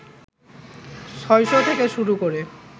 ৬০০ থেকে শুরু করে